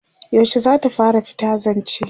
yaushe zata fara fita zance?